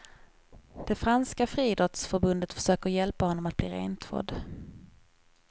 Det franska friidrottsförbundet försöker hjälpa honom att bli rentvådd.